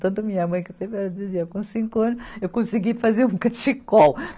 Tanto minha mãe que sempre dizia, com cinco anos, eu consegui fazer um cachecol.